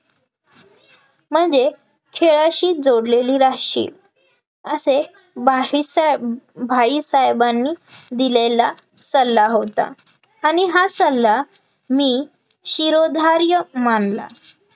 म्हणजे खेळाशी जोडलेली राहाशील असे बाहीसाहेब भाईसाहेबांनी दिलेला सल्ला होता, आणि हा सल्ला मी शिरोधार्य मानला